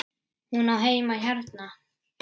Hún á heima hérna!